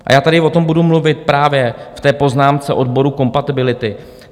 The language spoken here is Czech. A já tady o tom budu mluvit právě v té poznámce odboru kompatibility.